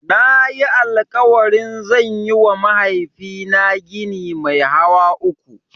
Nayi alƙawarin zan yiwa mahaifina gini mai hawa uku.